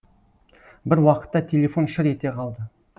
бір уақытта телефон шыр ете қалды